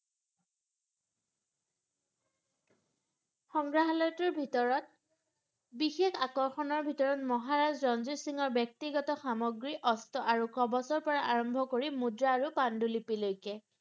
সংগ্ৰাহলয়টোৰ ভিতৰত বিশেষ আকৰ্ষণৰ ভিতৰত মহাৰাজ ৰঞ্জিত সিংহৰ ব্যক্তিগত সামগ্ৰী অস্ত্ৰ আৰু কৱচৰ পৰা আৰম্ভ কৰি মুদ্ৰা আৰু পান্ডুলিপি লৈকে